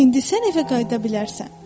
İndi sən evə qayıda bilərsən.